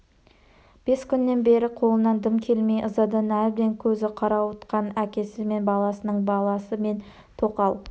бес күннен бері қолынан дым келмей ызадан әбден көзі қарауытқан әкесі мен баласының баласы мен тоқал